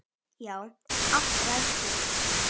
Já, allt ræðst þá.